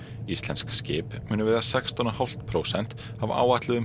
íslensk skip munu veiða sextán og hálft prósent af áætluðum